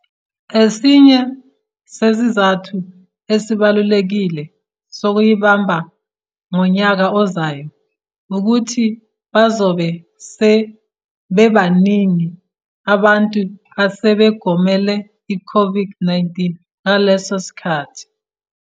Esinye sezizathu esibalulekile sokuyibamba ngonyaka ozayo ukuthi bazobe sebebaningi abantu asebegomele iCOVID-19 ngaleso sikhathi.